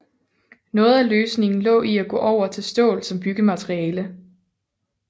Noget af løsningen lå i at gå over til stål som byggemateriale